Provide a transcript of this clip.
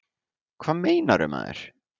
Hvað meinarðu, maður?